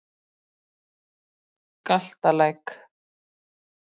Galtalæk